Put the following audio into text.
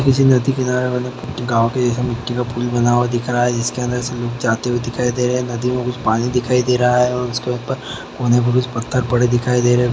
किसी नदी किनारे वाला गांव जैसे मिट्टी का पुल बना हुआ दिख रहा है जिसके अंदर सभी जाते हुए दिखाई दे रहे है नदी में कुछ पानी दिखाई दे रहा है एवं उसके ऊपर कोने में कुछ पत्थर पड़े दिखाई दे रहे है।